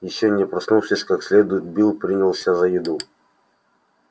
ещё не проснувшись как следует билл принялся за еду